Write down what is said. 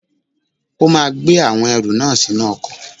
O máa gbé àwọn ẹrù náà sínú ọkọ̀.